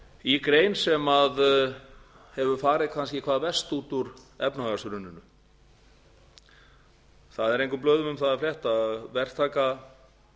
í grein sem hefur farið kannski hvað verst út úr efnahagshruninu það er engum blöðum um það að